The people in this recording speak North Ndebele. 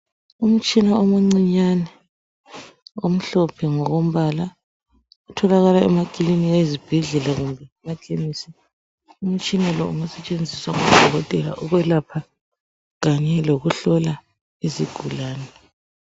Umtshina omuncinyane omhlophe ngokombala . Utholakala emaklinika ezibhedlela lema khemesi . Umtshina lo ungasetshenziswa ngodokotela ukwelapha kanye lokuhloka izigulane .